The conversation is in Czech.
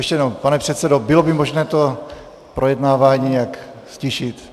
Ještě jednou, pane předsedo, bylo by možné to projednávání nějak ztišit?